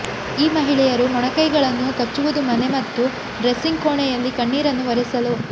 ಈ ಮಹಿಳೆಯರು ಮೊಣಕೈಗಳನ್ನು ಕಚ್ಚುವುದು ಮನೆ ಮತ್ತು ಡ್ರೆಸ್ಸಿಂಗ್ ಕೋಣೆಯಲ್ಲಿ ಕಣ್ಣೀರನ್ನು ಒರೆಸಲು